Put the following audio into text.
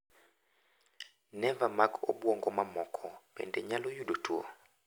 Neva mag obuongo mamoko bende nyalo yudo tuo.